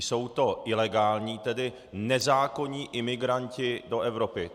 Jsou to ilegální - tedy nezákonní - imigranti do Evropy.